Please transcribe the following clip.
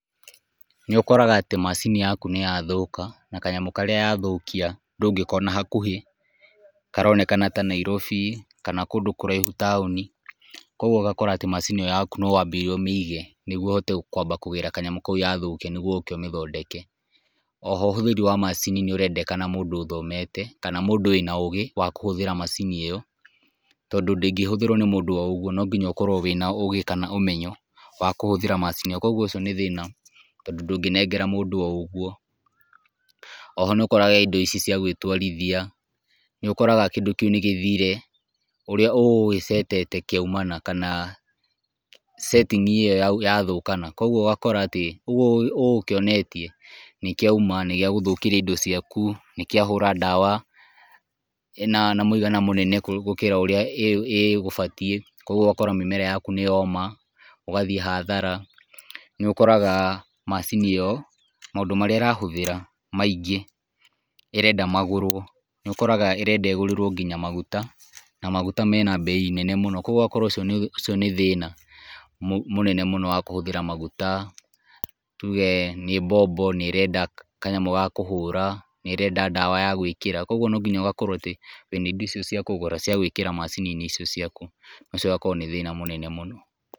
Nĩ ũkoraga atĩ macini yaku nĩ yathũka, na kanyamũ karĩa yathũkia ndũgĩkona hakuhĩ, karonekana na Nairobi kana kũndũ kũraihu taũni, kũgũo ũgakora macini yaku no wabire ũmĩige nĩgetha ũhote kwamba kũgĩra kanyamũ karĩa yathũkia, nĩgetha ũkĩ ũmĩthondeke, oho ũhũthĩri wa macini nĩ ũrendekana mũndũ ũthomete, kana mũndũ wĩna ũgĩ wa kũhũthĩra macini ĩyo, tondũ ndĩgĩhũthĩrwo nĩ mũndũ o ũguo, nĩ nginya ũkorwo wĩna ũgĩ kana ũmenyo wa kũhũthĩra macini ĩyo, kũguo ũcio nĩ thĩna tondũ ndũgĩnengera mũndũ o uguo, oho nĩ ũkoraga indo ici cia gwĩtwarithia nĩ ũkoraga kĩndũ kĩu nĩgĩthire ũrĩa ũgũgĩcetete kĩaũmana kana setting ĩyo yathũkana kũguo ũgakora atĩ ũguo ũgũkĩonetie, nĩkĩuma na nĩgĩa gũthũkĩria indo ciaku, nĩkĩahũra ndawa na mũigana mũnene gũkĩra ũrĩa ĩgũbatiĩ, kũguo ũgakora atĩ mĩmera yaku nĩ yoma ũgathiĩ hathara , nĩ ũkoraga macini ĩyo maũndũ marĩa ĩrahũthĩra maingĩ, ĩrenda magũrwo na ũkoraga nginya ĩrenda igũrĩrwo nginya maguta , na maguta mena mbei nene mũno, kũguo ũgakora ũcio ũcio nĩ thĩna mũnene mũno wa kũhũthĩra maguta , tuge nĩ mbombo nĩ irenda kanyamũ gakũhũra, nĩ ĩrenda ndawa ya gwĩkĩra, kũguo no nginya ũgakorwo atĩ wĩna indo ici ciakũgũra cia gwĩkĩra macini-inĩ icio ciaku, na ũcio ũgakora nĩ thĩna mũnene mũno.